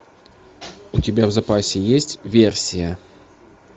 у тебя в запасе есть версия